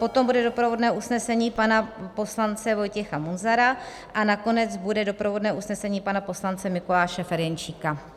Potom bude doprovodné usnesení pana poslance Vojtěcha Munzara a nakonec bude doprovodné usnesení pana poslance Mikuláše Ferjenčíka.